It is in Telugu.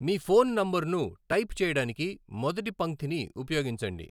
మీ ఫోన్ నంబర్ను టైప్ చేయడానికి మొదటి పంక్తిని ఉపయోగించండి.